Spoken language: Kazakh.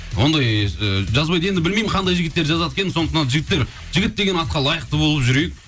ондай ы жазбайды енді білмеймін қандай жігіттер жазады екен сондықтан жігіттер жігіт деген атқа лайықты болып жүрейік